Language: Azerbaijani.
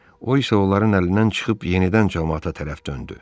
O isə onların əlindən çıxıb yenidən camaata tərəf döndü.